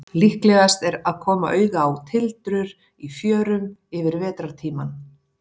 Líklegast er að koma auga á tildrur í fjörum yfir vetrartímann.